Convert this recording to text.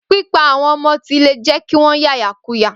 Pípa àwọn ọmọ ti le jẹ́ kí wọ́n ya ìyàkuyà.